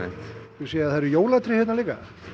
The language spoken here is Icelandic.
ég sé að það eru jólatré hérna líka